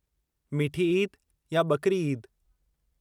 मीठी ईद या ॿकरी ईद?